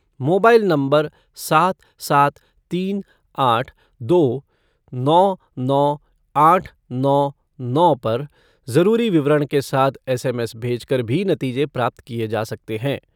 Mobile number सात सात तीन आठ दो नौ नौ आठ नौ नौ पर जरूरी विवरण के साथ एसएमएस भेजकर भी नतीजे प्राप्त किए जा सकते हैं।